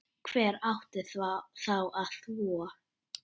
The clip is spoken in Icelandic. Hver átti þá að þvo?